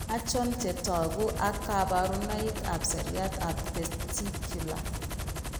Achon chetogu ak kaborunoik ab seriat ab testicular